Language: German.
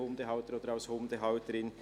Wir haben es gehört.